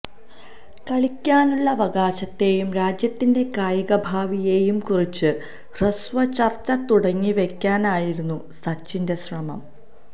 കളിക്കാനുള്ള അവകാശത്തെയും രാജ്യത്തിന്റെ കായികഭാവിയെയും കുറിച്ചു ഹ്രസ്വചര്ച്ച തുടങ്ങിവയ്ക്കാനായിരുന്നു സച്ചിന്റെ ശ്രമം